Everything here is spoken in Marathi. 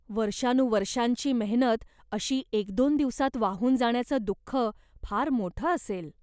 वर्षानुवर्षांची मेहनत अशी एक दोन दिवसात वाहून जाण्याचं दुख्ख फार मोठ असेल.